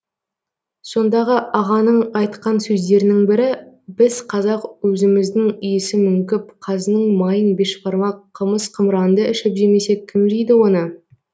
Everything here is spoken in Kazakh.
сондағы ағаның айтқан сөздерінің бірі біз қазақ өзіміздің иісі мүңкіп қазының майын бешбармақ қымыз қымыранды ішіп жемесек кім жейді оны